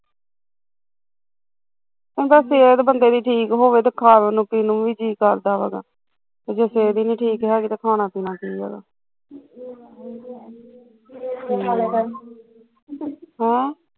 ਸਿਹਤ ਬੰਦੇ ਦੀ ਠੀਕ ਹੋਵੇ ਫਿਰ ਖਾਵਣ ਨੂੰ ਪੀਵਨ ਨੂੰ ਵੀ ਜੀਅ ਕਰਦਾ ਵਾ, ਤੇ ਜੇ ਸੇਹਤ ਹੀਂ ਨੀ ਠੀਕ ਹੈਗੀ ਤੇ ਖਾਣਾ ਪੀਣਾ ਕੀ ਹੈਗਾ ਵਾ ਹੈਂ